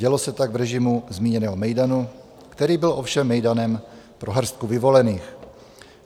Dělo se tak v režimu zmíněného mejdanu, který byl ovšem mejdanem pro hrstku vyvolených.